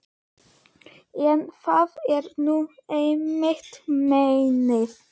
En það er nú einmitt meinið.